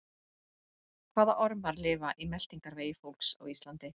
Hvaða ormar lifa í meltingarvegi fólks á Íslandi?